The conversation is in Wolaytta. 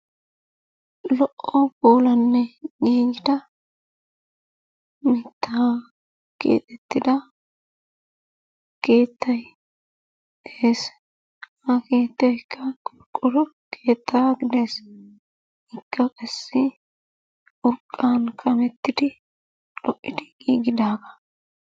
Lo"o puulanne giggida mittaa kexxettida keettay de'ees. Ha keettaykka qorqqoro keettaa gidees. Ikka qassi xoqqan kamettidi lo'idi giggidaagaa.